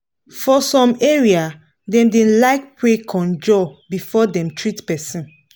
for some area dem da like pray conjur before dem treat person